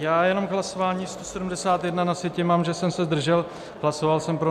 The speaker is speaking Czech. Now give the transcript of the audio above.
Já jenom k hlasování 171, na sjetině mám, že jsem se zdržel, hlasoval jsem pro.